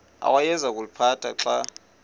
awayeza kuliphatha xa